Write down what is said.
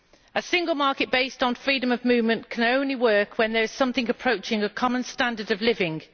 A single market based on freedom of movement can only work when there is something approaching a common standard of living.